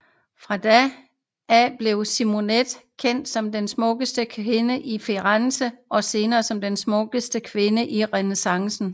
Fra da af blev Simonetta kendt som den smukkeste kvinde i Firenze og senere som den smukkeste kvinde i renæssancen